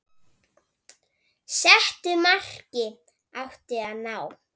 Settu marki átti að ná.